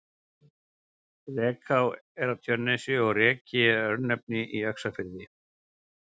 Rekaá er á Tjörnesi og Reki er örnefni í Öxarfirði.